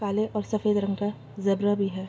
काले और सफेद रंग का जेब्रा भी है।